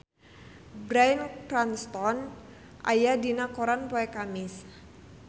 Bryan Cranston aya dina koran poe Kemis